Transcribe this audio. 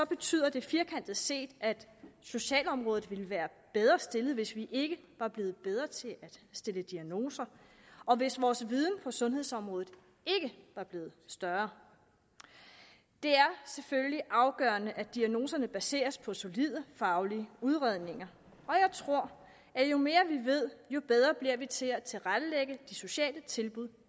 betyder det firkantet set at socialområdet ville være bedre stillet hvis vi ikke var blevet bedre til at stille diagnoser og hvis vores viden på sundhedsområdet ikke var blevet større det er selvfølgelig afgørende at diagnoserne baseres på solide faglige udredninger og jeg tror at jo mere vi ved jo bedre bliver vi til at tilrettelægge de sociale tilbud